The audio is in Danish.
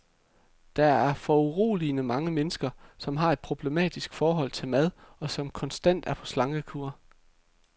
Der er foruroligende mange mennesker, som har et problematisk forhold til mad, og som konstant er på slankekur.